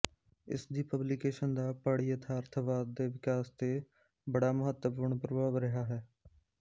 ਇਸ ਦੀ ਪਬਲੀਕੇਸ਼ਨ ਦਾ ਪੜਯਥਾਰਥਵਾਦ ਦੇ ਵਿਕਾਸ ਤੇ ਬੜਾ ਮਹੱਤਵਪੂਰਨ ਪ੍ਰਭਾਵ ਰਿਹਾ ਹੈ